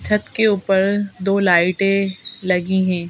छत के ऊपर दो लाइटें लगी हैं।